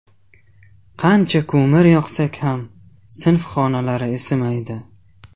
Qancha ko‘mir yoqsak ham sinf xonalari isimaydi.